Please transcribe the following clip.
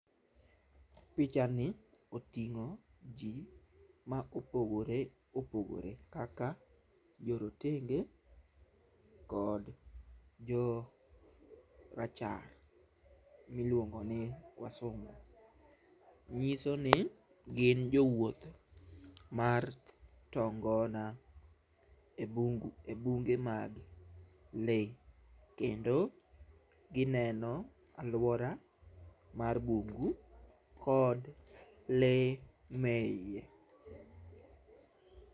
picha ni oting'o jii ma opogore opogore kaka jorotenge kod jorachar miluongo ni wasungu nyisoni gin jowuoth mar tongona e bung e bunge mag lee kendo gineno aluora mar bungu kod lee me iye.